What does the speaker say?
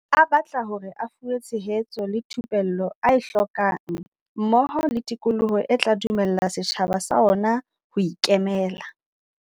A batla hore a fuwe tshe hetso le thupello a e hlokang mmoho le tikoloho e tla dumella setjhaba sa ona ho ikemela.